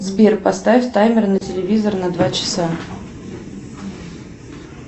сбер поставь таймер на телевизор на два часа